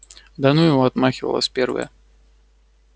да ну его отмахивалась первая